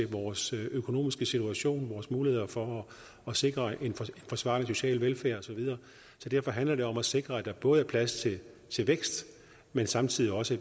vores økonomiske situation vores muligheder for at sikre en forsvarlig social velfærd og så videre så derfor handler det om at sikre at der både er plads til vækst men samtidig også